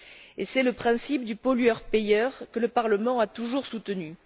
Et c'est le principe du pollueur payeur que le Parlement a toujours soutenu.